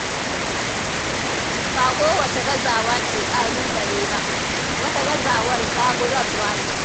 Ba kowace gazawa ce ƙalubale ba, wata gazawar zaburarwa ce.